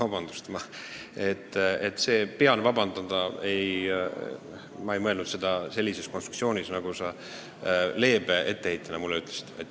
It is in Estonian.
Kui ma ütlesin, et ma pean vabandama, siis ma ei mõelnud sellise konstruktsiooni puhul seda, mida sa mulle leebelt ette heitsid.